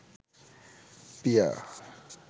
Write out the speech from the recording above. পিয়া